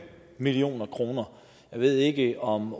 million kroner jeg ved ikke om